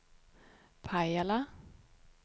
Pajala